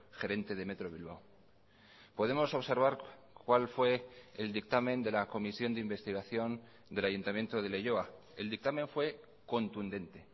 gerente de metro bilbao podemos observar cuál fue el dictamen de la comisión de investigación del ayuntamiento de leioa el dictamen fue contundente